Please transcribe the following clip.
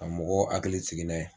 a mɔgɔ hakili sigi n'a ye.